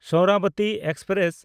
Saraswati express